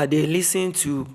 i dey lis ten to